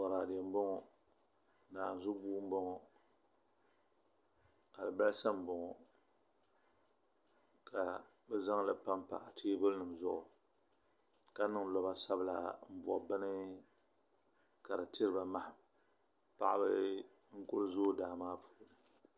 Boraadɛ nima boŋo naanzu buu n boŋo alibarisa n boŋo ka bi zaŋli panpa teebuli nim zuɣu ka niŋ loba sabila n bo bini ka di tiriba maham paɣaba n ku zooi daa maa puuni